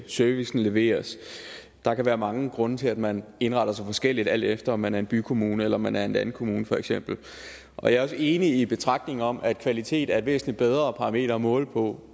servicen leveres der kan være mange grunde til at man indretter sig forskelligt alt efter om man er en bykommune eller om man er en landkommune for eksempel jeg er også enig i betragtningerne om at kvalitet er et væsentligt bedre parameter at måle på